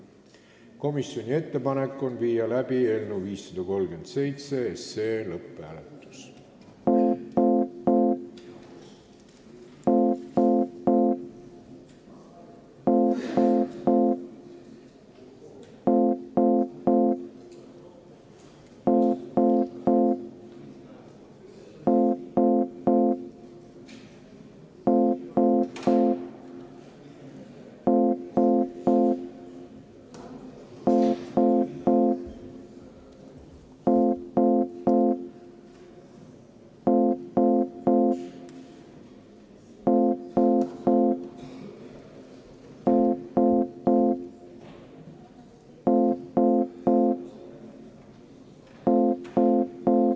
Komisjoni ettepanek on panna eelnõu 537 lõpphääletusele.